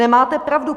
Nemáte pravdu.